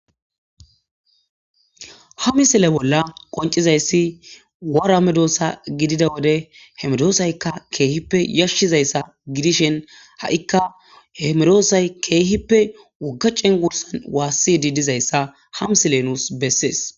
ha misile bolla qoncizayssi waraamedoossa gidida wode hemedoosaykka keehippe yashshizayssa gidishen ha7ikka hemedoosay keehippe wogga cengwursan waassi diidizayssa hamsile nuus bessees